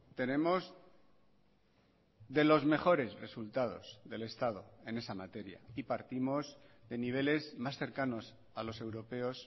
tenemos de los mejores resultados del estado en esa materia y partimos de niveles más cercanos a los europeos